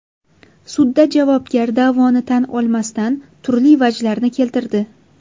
Sudda javobgar da’voni tan olmasdan turli vajlarni keltirdi.